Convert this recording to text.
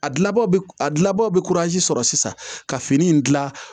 A gilaw a gilabaw be sɔrɔ sisan ka fini in gilan